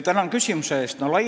Tänan küsimuse eest!